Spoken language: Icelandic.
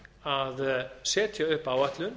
að setja upp áætlun